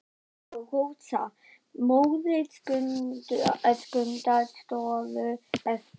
Inga og Rósa, móðir Skunda, stóðu eftir.